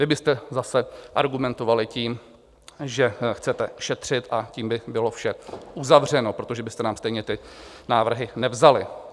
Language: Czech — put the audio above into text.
Vy byste zase argumentovali tím, že chcete šetřit, a tím by bylo vše uzavřeno, protože byste nám stejně ty návrhy nevzali.